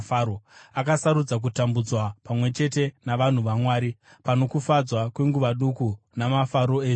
Akasarudza kutambudzwa pamwe chete navanhu vaMwari pano kufadzwa kwenguva duku namafaro ezvivi.